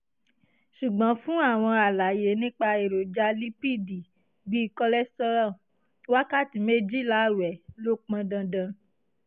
ṣùgbọ́n fún àwọn àlàyé nípa èròjà lípíìdì bí cholesterol wákàtí méjìlá ààwẹ̀ ló pọn dandan